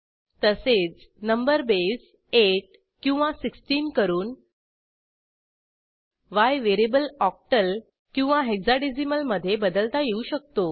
तसेच number base 8 किंवा 16 करून yव्हेरिएबल ऑक्टल किंवा हेक्साडेसिमल मधे बदलता येऊ शकतो